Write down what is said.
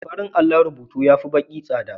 Farin allon rubutu ya fi baƙi tsada.